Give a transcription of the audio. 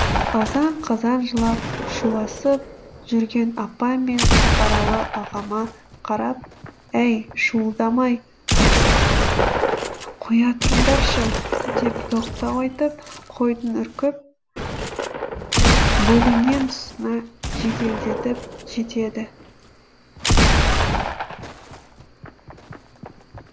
азан қазан жылап шуласып жүрген апам мен сапаралы ағама қарап әй шуылдамай қоя тұрыңдаршы деп тоқтау айтып қойдың үркіп бөлінген тұсына жеделдетіп жетеді